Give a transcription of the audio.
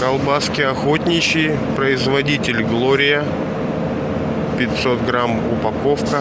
колбаски охотничьи производитель глория пятьсот грамм упаковка